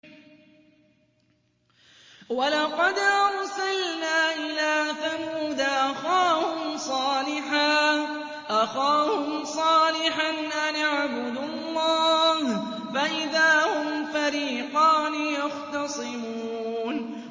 وَلَقَدْ أَرْسَلْنَا إِلَىٰ ثَمُودَ أَخَاهُمْ صَالِحًا أَنِ اعْبُدُوا اللَّهَ فَإِذَا هُمْ فَرِيقَانِ يَخْتَصِمُونَ